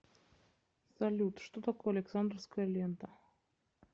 салют что такое александровская лента